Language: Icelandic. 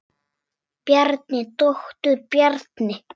Bjarni, doktor Bjarni.